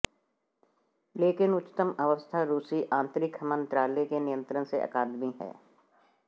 लेकिन उच्चतम अवस्था रूसी आंतरिक मंत्रालय के नियंत्रण से अकादमी है